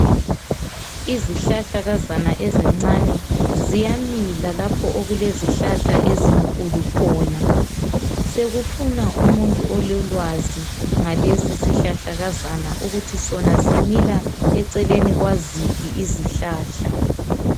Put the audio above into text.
izihlahlakazana ezincane ziyamila lapho okulezihlahla ezinkulu khona sekufuna umuntu ololwazi ngalesi sihlahlakazana ukuthi sona simila eeleni kwaziphi izihlahla